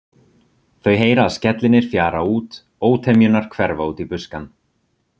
Þau heyra að skellirnir fjara út, ótemjurnar hverfa út í buskann.